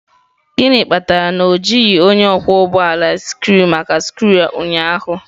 Gịnị kpatara na o jighị onye ọkwọ ụgbọ ala scree maka skru a ụnyaahụ?